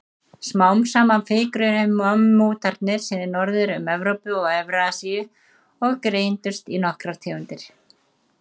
Smám saman fikruðu mammútarnir sig norður um Evrópu og Evrasíu og greindust í nokkrar tegundir.